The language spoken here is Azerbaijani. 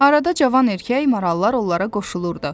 Arada cavan erkək marallar onlara qoşulurdu.